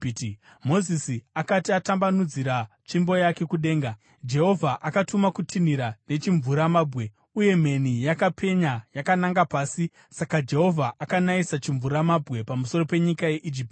Mozisi akati atambanudzira tsvimbo yake kudenga, Jehovha akatuma kutinhira nechimvuramabwe, uye mheni yakapenya yakananga pasi. Saka Jehovha akanayisa chimvuramabwe pamusoro penyika yeIjipiti;